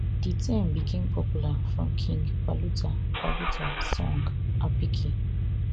di term become popular from king paluta paluta song apicki